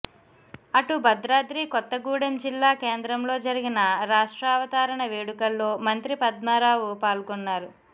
అటు భద్రాద్రి కొత్తగూడెం జిల్లా కేంద్రంలో జరిగిన రాష్ట్రావతరణ వేడుకల్లో మంత్రి పద్మారావు పాల్గొన్నారు